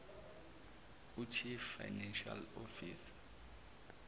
uchief financial officer